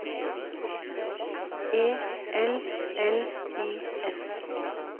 E L L I S